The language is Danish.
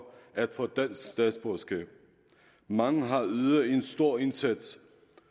at få dansk statsborgerskab mange har ydet en stor indsats